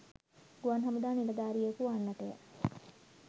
ගුවන් හමුදා නිලධාරියකු වන්නටය.